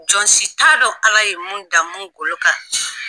Jɔn si t'a dɔn Ala ye mun dan mun golo kan